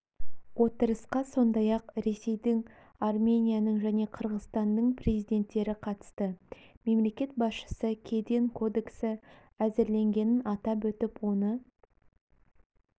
отырысқа сондай-ақ ресейдің арменияның және қырғызстанның президенттері қатысты мемлекет басшысы кеден кодексі әзірленгенін атап өтіп оны